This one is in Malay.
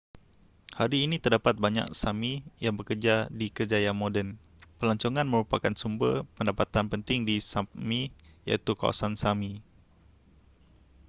hari ini terdapat banyak sámi yang bekerja di kerjaya moden. pelancongan merupakan sumber pendapatan penting di sápmi iaitu kawasan sámi